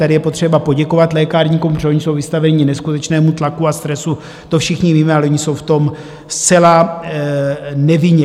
Tady je potřeba poděkovat lékárníkům, protože oni jsou vystaveni neskutečnému tlaku a stresu, to všichni víme, ale oni jsou v tom zcela nevinně.